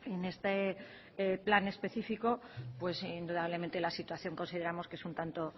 en este plan especifico pues indudablemente la situación consideramos que es un tanto